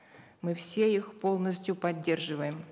мы все их полностью поддерживаем